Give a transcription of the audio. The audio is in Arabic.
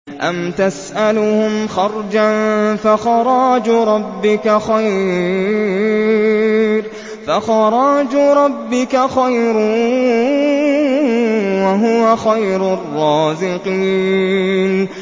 أَمْ تَسْأَلُهُمْ خَرْجًا فَخَرَاجُ رَبِّكَ خَيْرٌ ۖ وَهُوَ خَيْرُ الرَّازِقِينَ